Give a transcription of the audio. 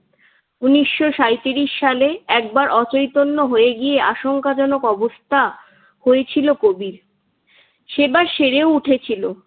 উনিশশো সাইত্রিশ সালে একবার অচৈতন্য হয়ে গিয়ে আশঙ্কাজনক অবস্থা হয়েছিল কবির। সেবার সেরে উঠেছিল।